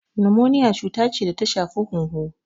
Nimoniya cuta ce da ta shafi hunhu.